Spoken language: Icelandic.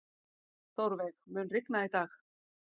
Þórveig, mun rigna í dag?